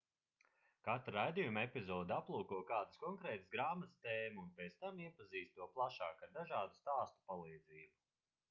katra raidījuma epizode aplūko kādas konkrētas grāmatas tēmu un pēc tam iepazīst to plašāk ar dažādu stāstu palīdzību